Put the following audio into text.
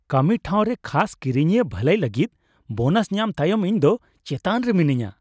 ᱠᱟᱹᱢᱤ ᱴᱷᱟᱶᱨᱮ ᱠᱷᱟᱥ ᱠᱤᱨᱤᱧᱤᱭᱟᱹ ᱵᱷᱟᱹᱞᱟᱹᱭ ᱞᱟᱹᱜᱤᱫ ᱵᱳᱱᱟᱥ ᱧᱟᱢ ᱛᱟᱭᱚᱢ ᱤᱧᱫᱚ ᱪᱮᱛᱟᱱ ᱨᱮ ᱢᱤᱱᱟᱹᱧᱟ ᱾